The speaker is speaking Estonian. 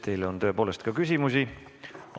Teile on tõepoolest ka küsimusi.